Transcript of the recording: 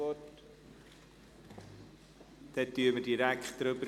Somit befinden wir direkt darüber.